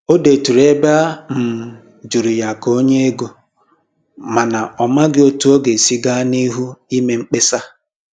Ọ dèturu ebe a um jụrụ̀ ya ka o nye égo, mana ọ màghị etu ọ ga-esi gaa n'ihu ime mkpesa.